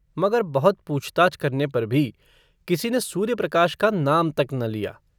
मगर बहुत पूछताछ करने पर भी किसी ने सूर्यप्रकाश का नाम तक न लिया।